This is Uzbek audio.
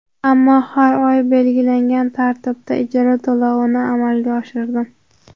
Ammo har oy belgilangan tartibda ijara to‘lovini amalga oshirdim.